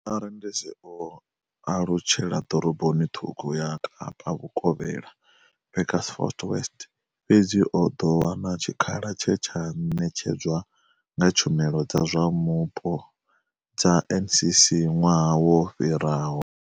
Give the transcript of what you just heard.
Arendese o alutshela ḓoroboni ṱhukhu ya Kapa vhukovhela, Beaufort West. Fhedzi o ḓo wana tshikhala tshe tsha ṋetshedzwa nga tshumelo dza zwa mupo dza NCC ṅwaha wo fhiraho.